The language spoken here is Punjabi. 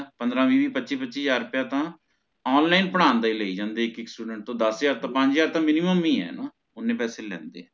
ਪੰਦ੍ਰ ਵੀਹ ਵੀਹ ਪੱਚੀ ਪੱਚੀ ਹਾਜ਼ਰ ਰੁਪਏ ਤਾ online ਪੜਾਉਣ ਦਾ ਹੀ ਲਈ ਜਾਂਦੇ ਇਕ ਇਕ students ਦਸ ਹਜ਼ਾਰ ਤੋਂ ਪੰਜ ਹਜ਼ਾਰ ਤਹ Minimum ਹੀ ਹੈ ਨਾ ਓਹਨੇ ਪੈਸੇ ਲੇਂਦੇ ਹੈ